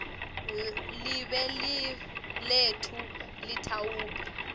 live letfu litawube